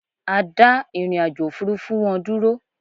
A dà ìrìnàjò òfurufú wọn dúró